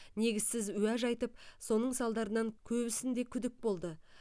негізсіз уәж айтып соның салдарынан көбісінде күдік болды